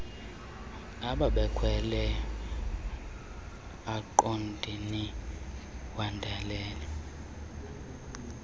ababekhwele eqongeni wadlalelwa